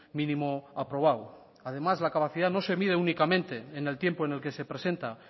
mínimo aprobado además la capacidad no se mide únicamente en el tiempo en el que se presenta